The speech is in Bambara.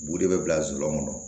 Bu de bɛ bila zuluŋɔn kɔnɔ